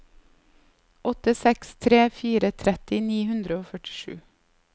åtte seks tre fire tretti ni hundre og førtisju